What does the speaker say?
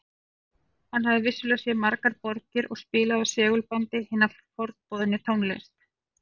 Hann hafði vissulega séð margar borgir og spilaði af segulbandi hina forboðnu tónlist